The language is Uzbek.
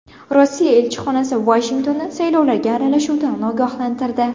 Rossiya elchixonasi Vashingtonni saylovlarga aralashuvlardan ogohlantirdi.